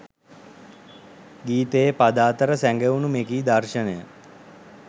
ගීතයේ පද අතර සැඟවුණු මෙකී දර්ශනය